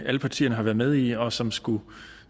alle partierne har været med i og som skulle